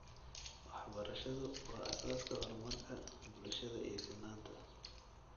Waxbarashadu waa aasaaska horumarka bulshada iyo sinaanta.